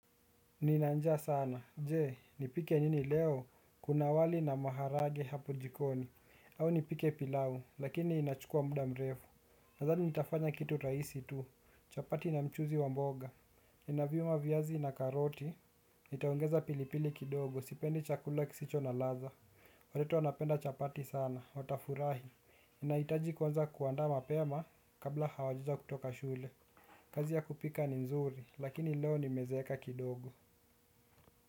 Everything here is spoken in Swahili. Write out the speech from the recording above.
Nina njaa sana, je, nipike nini leo, kuna wali na maharage hapo jikoni, au nipike pilau, lakini inachukuwa muda mrefu. Nadhani nitafanya kitu rahisi tu, chapati na mchuuzi wa mboga. Ninaviuma viazi na karoti, nitaongeza pilipili kidogo, sipendi chakula kisicho na ladha. Watoto wanapenda chapati sana, watafurahi, ninahitaji kuanza kuandaa mapema kabla hawajaanza kutoka shule. Kazi ya kupika ni nzuri, lakini leo nimezeeka kidogo.